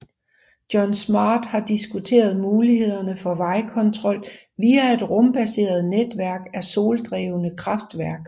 John Smart har diskuteret mulighederne for vejrkontrol via et rumbaseret netværk af soldrevne kraftværk